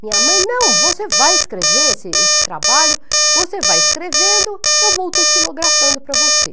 Minha mãe, não, você vai escrever esse esse trabalho, você vai escrevendo, eu vou estilografando para você.